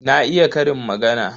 Na iya ƙarin magana.